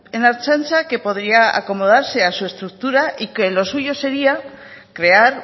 en la ertzaintza que podría acomodarse a su estructura y que lo suyo sería crear